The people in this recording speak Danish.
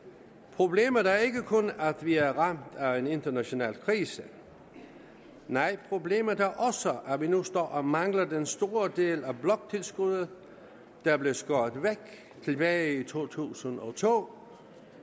problemet er ikke kun at vi er ramt af en international krise nej problemet er også at vi nu står og mangler den store del af bloktilskuddet der blev skåret væk tilbage i to tusind og to